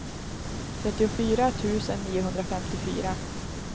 trettiofyra tusen niohundrafemtiofyra